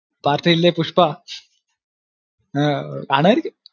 party ഇല്ലേ പുഷ്പ അഹ് കാണുമായിരിക്കും